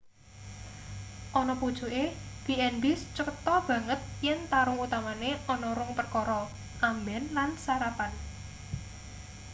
ana pucuke b&bs cetho banget yen tarung utamane ana rong perkara: amben lan sarapan